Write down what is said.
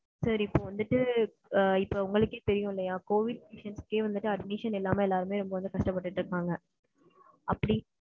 Sir இப்போ வந்துட்டு இப்போ உங்களுக்கே தெரியுமலயா கோவிட் admission எல்லாமே வந்துட்டு கஷ்டப்பட்டுட்டு இருப்பாங்க. அப்படி,